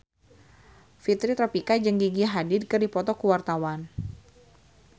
Fitri Tropika jeung Gigi Hadid keur dipoto ku wartawan